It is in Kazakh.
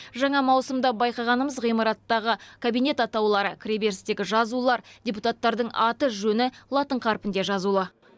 жаңа маусымда байқағанымыз ғимараттағы кабинет атаулары кіреберістегі жазулар депутаттардың аты жөні латын қарпінде жазулы